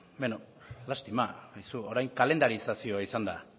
lastima aizu orain kalendarizazioa izan da